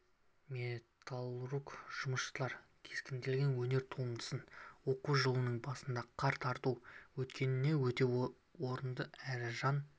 металлург жұмысшылар кескінделген өнер туындысын оқу жылының басында қар тарту еткені өте орынды әрі жан